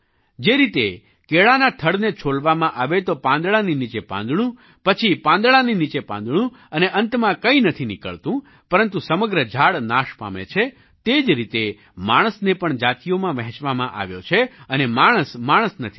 જે રીતે કેળાના થડને છોલવામાં આવે તો પાંદડાની નીચે પાંદડું પછી પાંદડાની નીચે પાંદડું અને અંતમાં કંઈ નથી નીકળતું પરંતુ સમગ્ર ઝાડ નાશ પામે છે તે જ રીતે માણસને પણ જાતિઓમાં વહેંચવામાં આવ્યો છે અને માણસ માણસ નથી રહ્યો